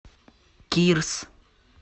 кирс